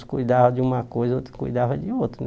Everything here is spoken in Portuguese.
Cuidavam de uma coisa, outros cuidavam de outra, né?